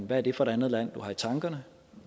hvad er det for et andet land du har i tankerne